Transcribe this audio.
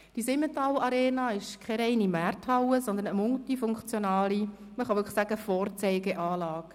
Die Simmental-Arena ist keine reine Markthalle, sondern eine multifunktionale – man kann es wirklich sagen – Vorzeigeanlage.